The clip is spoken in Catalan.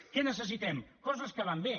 què necessitem coses que van bé